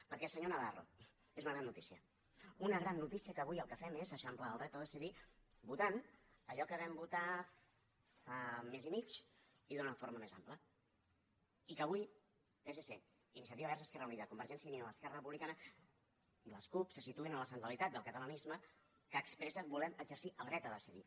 perquè senyor navarro és una gran notícia una gran notícia que avui el que fem és eixamplar el dret a decidir votant allò que vam votar fa mes i mig i d’una forma més àmplia i que avui psc iniciativa verds esquerra unida convergència i unió esquerra republicana i les cup se situïn en la centralitat del catalanisme que expressa volem exercir el dret a decidir